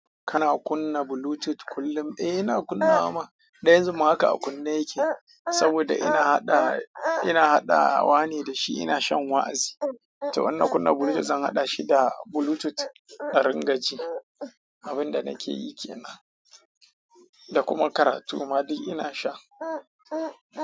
Kana kunna Bluetooth kullum? Eh ina kunna man. Dan yanzun ma haka a kunne yake saboda ina haɗa, ina haɗawa ne da shi ina shan wa'azi. To wanna kunna Bluetooth zan haɗa shi da Bluetooth in ringa ji. Abin da nake yi ke nan. Da kuma karatu ma duk ina sha.